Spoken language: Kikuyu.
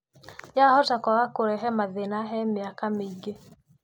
Yahota kwaga kũrehe mathĩna he mĩaka mĩingĩ.